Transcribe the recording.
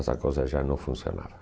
Essa coisa já não funcionava.